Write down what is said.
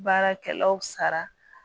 Baarakɛlaw sara